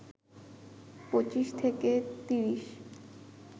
২৫ থেকে ৩০